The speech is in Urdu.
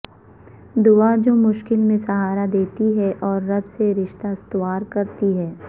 دعا جو مشکل میں سہارا دیتی ھے اور رب سے رشتہ استوار کرتی ھے